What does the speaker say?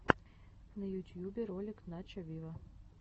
на ютьюбе ролик начо виво